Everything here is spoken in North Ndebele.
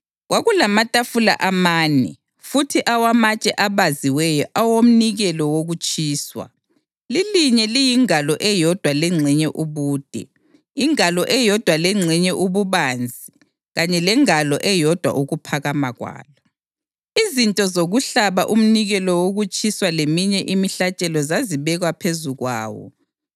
Kwakulamatafula amane futhi awamatshe abaziweyo awomnikelo wokutshiswa, lilinye liyingalo eyodwa lengxenye ubude, ingalo eyodwa lengxenye ububanzi kanye lengalo eyodwa ukuphakama kwalo. Izinto zokuhlaba umnikelo wokutshiswa leminye imihlatshelo zazibekwa phezu kwawo.